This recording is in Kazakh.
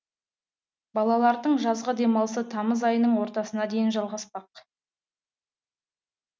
балалардың жазғы демалысы тамыз айының ортасына дейін жалғаспақ